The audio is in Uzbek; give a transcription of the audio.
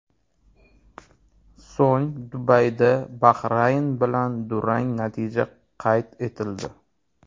So‘ng Dubayda Bahrayn bilan durang natija qayd etildi.